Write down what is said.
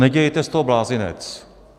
Nedělejte z toho blázinec.